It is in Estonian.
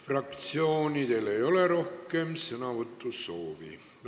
Fraktsioonidel rohkem sõnavõtusoove ei ole.